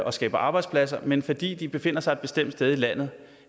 og skaber arbejdspladser men som fordi de befinder sig et bestemt sted i landet